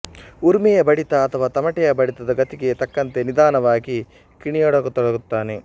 ಉರುಮೆಯ ಬಡಿತ ಅಥವಾ ತಮಟೆಯ ಬಡಿತದ ಗತಿಗೆ ತಕ್ಕಂತೆ ನಿಧಾನಕ್ಕೆ ಕಿಣಿಯತೊಡಗುತ್ತಾನೆ